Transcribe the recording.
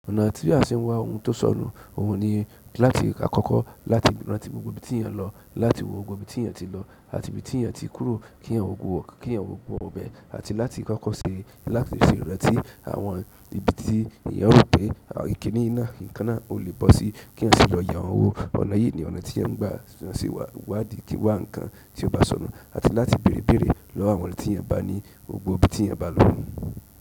Ọ̀nà tí a ṣe ń wá ohun tó sọnù, ohun ni láti kọ́kọ́ láti rántí gbogbo ibi tí èèyàn lọ, láti wò gbogbo ibi tí èèyàn ti lọ àti ibi tí èèyàn ti kúrò kí èèyàn wò gbogbo ibẹ̀ àti láti kọ́kọ́ ṣe láti ṣe ìrántí àwọn ibi tí èèyàn rò pé àwọn kiní yìí náà náà ò lè bọ́ síi kéèyàn sì lọ yá owó. Ọ̀nà yìí ni ọ̀nà tí à ń gbà lọ wá nǹkan tí ó bá sọnù àti láti bèèrè ìbéèrè lọ́wọ́ àwọn tí èèyàn bá rí ní gbogbo ibi tí èèyàn bá lọ.